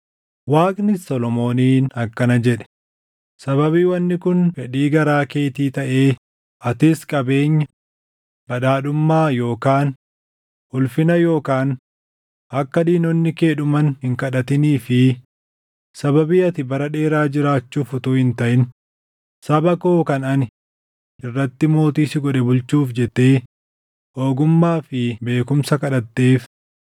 Waaqnis Solomooniin akkana jedhe; “Sababii wanni kun fedhii garaa keetii taʼee atis qabeenya, badhaadhummaa yookaan ulfina yookaan akka diinonni kee dhuman hin kadhatinii fi sababii ati bara dheeraa jiraachuuf utuu hin taʼin saba koo kan ani irratti mootii si godhe bulchuuf jettee ogummaa fi beekumsa kadhatteef,